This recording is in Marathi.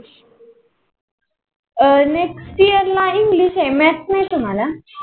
अं next year ला english आहे. math नाही तुम्हाला?